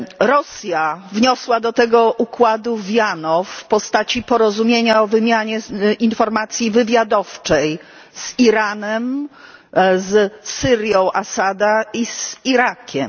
Rosja wniosła do tego układu wiano w postaci porozumienia o wymianie informacji wywiadowczej z Iranem, z Syrią Asada i z Irakiem.